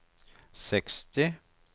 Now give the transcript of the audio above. seksti